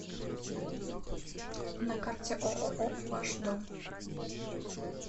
на карте ооо ваш дом